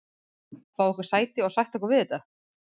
Fá okkur sæti og sætta okkur við þetta?